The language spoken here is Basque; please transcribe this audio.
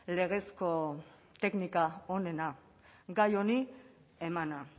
legezko teknika onena gai hongi emana